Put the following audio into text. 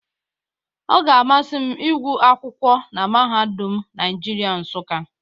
Ọ ga-amasị m ịgwụ akwụkwọ na mahadum Naịjirịa Nsụka.